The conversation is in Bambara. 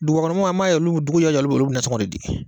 Dugubakɔnɔmaaw an b'a ye dugu jɛ o jɛ olu nasɔngɔ de di